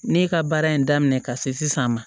Ne ka baara in daminɛ ka se sisan ma